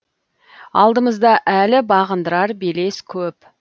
алдымызда әлі бағындырар белес көп